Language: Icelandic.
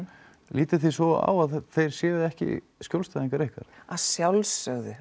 lítið þið svo á að þeir séu ekki skjólstæðingar ykkar að sjálfsögðu